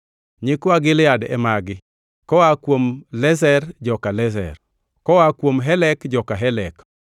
Nyikwa Gilead e magi: koa kuom Iezer, joka Iezer; koa kuom Helek, joka Helek;